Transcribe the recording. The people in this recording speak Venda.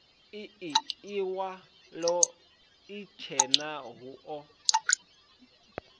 ii iwalo itshena hu o